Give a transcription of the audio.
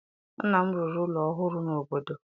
Nna m rụrụ ụlọ ọhụrụ n'obodo